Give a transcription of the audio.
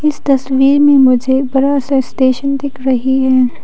इस तस्वीर में मुझे बस स्टेशन दिख रही हैं।